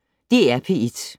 DR P1